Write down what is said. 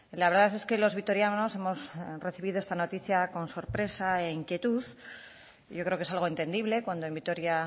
la verdad es que los vitorianos hemos recibido esta noticia con sorpresa e inquietud yo creo que es algo entendible cuando en vitoria